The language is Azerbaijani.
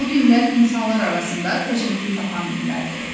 Bu dinlər insanlar arasında təşəkkül tapan dinlərdir.